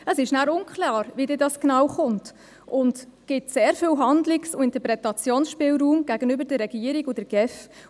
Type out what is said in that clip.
Es ist unklar, wie es dann genau kommen wird, und es gibt sehr viel Handlungs- und Interpretationsspielraum gegenüber der Regierung und der GEF.